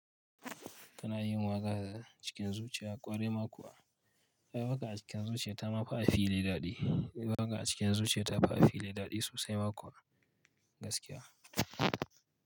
Kana yin waƙa cikin zuciya ƙwarai ma kuwa. Waƙa a cikin zuciya ta mafi a fili daɗi. Waƙa a cikin zuciya ta fi a fili daɗi sosai makuwa gaskiya.